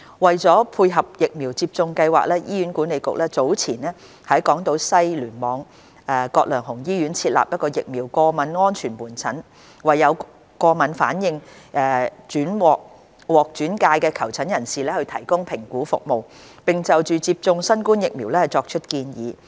為配合疫苗接種計劃，醫院管理局早前在港島西醫院聯網葛量洪醫院設立疫苗過敏安全門診，為有過敏反應獲轉介的求診人士提供評估服務，並就接種新冠疫苗作出建議。